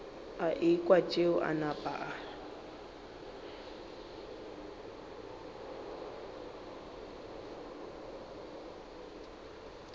ekwa tšeo a napa a